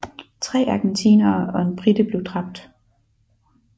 Tre argentinere og en brite blev dræbt